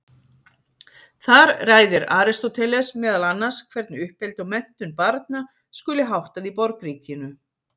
Þar ræðir Aristóteles meðal annars hvernig uppeldi og menntun barna skuli háttað í borgríkinu.